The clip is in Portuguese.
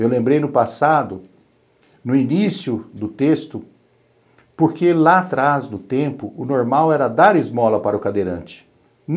Eu lembrei no passado, no início do texto, porque lá atrás, no tempo, o normal era dar esmola para o cadeirante.